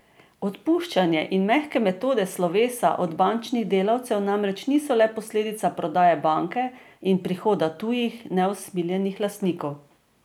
Odpuščanje in mehke metode slovesa od bančnih delavcev namreč niso le posledica prodaje banke in prihoda tujih, neusmiljenih lastnikov.